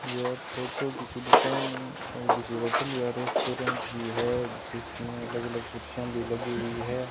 यह फोटो किसी दुकान एवं किसी होटल या रेस्टोरेंट की है जिसमें अलग अलग कुर्सियां भी लगी हुई है।